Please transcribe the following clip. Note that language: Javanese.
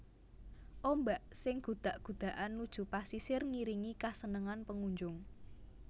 Ombak sing gudak gudakan nuju pasisir ngiringi kesenengan pengunjung